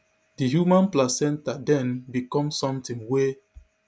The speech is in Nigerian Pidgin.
di human placenta den become somtin wey